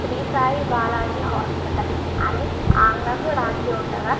Shri Sai Balaji hospital అని ఆంగ్లంలో రాసి ఉండగా --